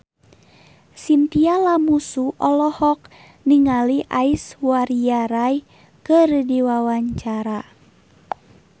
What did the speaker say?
Chintya Lamusu olohok ningali Aishwarya Rai keur diwawancara